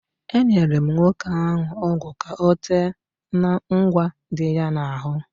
Enyere m nwoke ahụ ọgwụ ka ọ tee n'ụgwa dị ya n'ahụ.